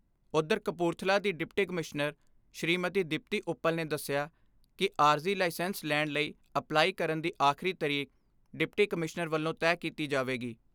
ਉਧਰ ਕਪੂਰਥਲਾ ਦੀ deputy commissioner Shrimati Deepti Uppal ਨੇ ਦੱਸਿਆ ਕਿ ਆਰਜੀ ਲਾਇਸੈਂਸ ਲੈਣ ਲਈ ਅਪਲਾਈ ਕਰਨ ਦੀ ਆਖਰੀ ਤਰੀਕ ਡਿਪਟੀ ਕਮਿਸ਼ਨਰ ਵੱਲੋਂ ਤੈਅ ਕੀਤੀ ਜਾਵੇਗੀ।